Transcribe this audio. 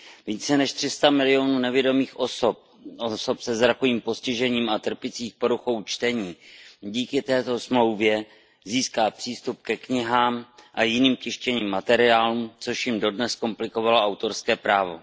Více než 300 milionů nevidomých osob, osob se zrakovým postižením a trpících poruchou čtení díky této smlouvě získá přístup ke knihám a jiným tištěným materiálům, což jim dodnes komplikovalo autorské právo.